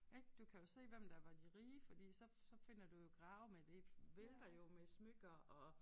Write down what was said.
Ik du kan jo se hvem der var de rige fordi så så finder du jo grave med det vælter jo med smykker og